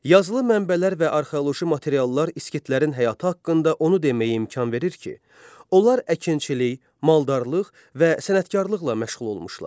Yazılı mənbələr və arxeoloji materiallar İskitlərin həyatı haqqında onu deməyə imkan verir ki, onlar əkinçilik, maldarlıq və sənətkarlıqla məşğul olmuşlar.